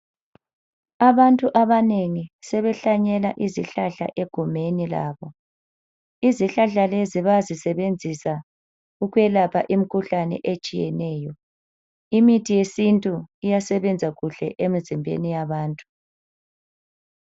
Abantu abanengi sebehlanyela izihlahla egumeni labo. Izihlahla lezi bayazisebenzisa ukwelapha imkhuhlane etshiyeneyo. Imithi yesintu iyasebenza kuhle emzimbeni yabantu.